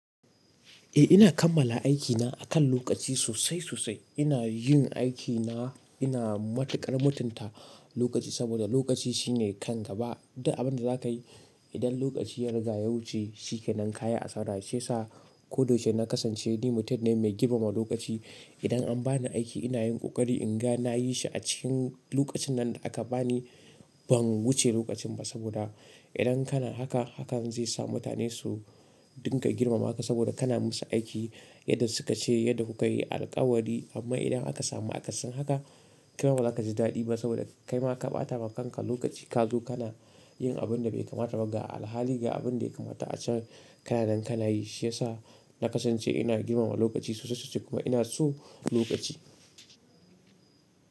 Eh ina kammala aikina akan lokaci sosai sosai. Ina yin aikina, ina matukar mutunta lokaci saboda lokaci shine kan gaba. Duk abin da za ka yi idan lokaci ya riga ya wuce, shi ke nan kaya a sara. Shi ya sa koda yaushe na kasance ni mutum ne mai girmama lokaci. Idan an bani aiki ina yin kokari inga nayi shi a cikin lokacin nan da aka bani. Ban wuce lokacin ba saboda idan kana haka, hakan zai sa mutane su dinga girmama ka saboda kana musu aiki yadda suka ce, yadda ku ka yi alkawari. Amma idan aka samu akasin haka, kai ba za ka ji daɗi ba saboda kai ma ka ɓata wa kanka lokaci. Kazo kana yin abin da bai kamata ba. Ga alhali ga abin da ya kamata a can kana nan kana yi. Shi ya sa na kasance ina girmama lokaci sosai sosai kuma ina so lokaci.